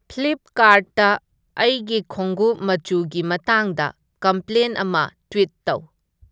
ꯐ꯭ꯂꯤꯞꯀꯥꯔꯠꯇ ꯑꯩꯒꯤ ꯈꯣꯡꯒꯨꯞ ꯃꯆꯨꯒꯤ ꯃꯇꯥꯡꯗ ꯀꯝꯄ꯭ꯂꯦꯟ ꯑꯃ ꯇ꯭ꯋꯤꯠ ꯇꯧ